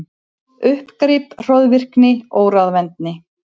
Uppgrip, hroðvirkni, óráðvendni.